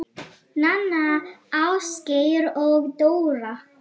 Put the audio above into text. Nanna, Ásgeir og Dóra